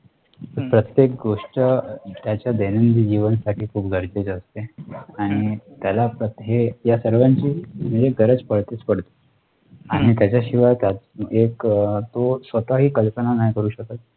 प्रत्येक गोष्ट त्याच्या दैनंदिन जीवना साठी खूप गरजेचे असते आणि त्याला आहे या सर्वांची म्हणजे गरज पडतेच पडते. आणि त्याच्या शिवाय त्या एक तो स्वतः ही कल्पना नाही करू शकत.